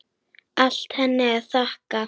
Allt henni að þakka.